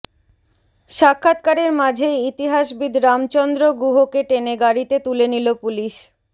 সাক্ষাৎকারের মাঝেই ইতিহাসবিদ রামচন্দ্র গুহকে টেনে গাড়িতে তুলে নিল পুলিশ